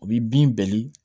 U b'i bin bɛɛli